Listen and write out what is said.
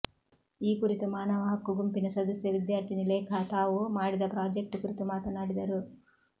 ಈ ಕುರಿತು ಮಾನವ ಹಕ್ಕು ಗುಂಪಿನ ಸದಸ್ಯೆ ವಿದ್ಯಾರ್ಥಿನಿ ಲೇಖಾ ತಾವು ಮಾಡಿದ ಪ್ರಾಜೆಕ್ಟ್ ಕುರಿತು ಮಾತನಾಡಿದರು